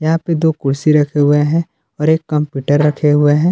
यहाँ पे दो कुर्सी रखे हुए हैं और एक कंप्यूटर रखे हुए हैं।